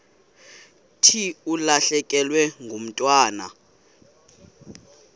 thi ulahlekelwe ngumntwana